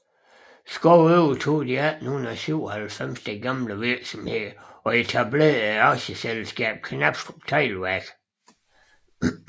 Schou overtog i 1897 den gamle virksomhed og etablerede Aktieselskabet Knabstrup Teglværk